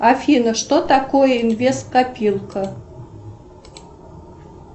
афина что такое инвест копилка